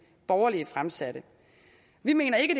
borgerlige fremsatte vi mener ikke